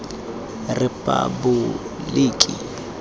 repaboliki